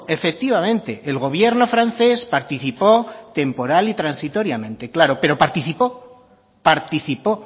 efectivamente el gobierno francés participó temporal y transitoriamente claro pero participó participó